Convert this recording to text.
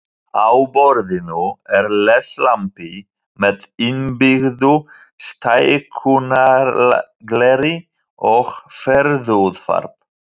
Á borðinu er leslampi með innbyggðu stækkunargleri og ferðaútvarp.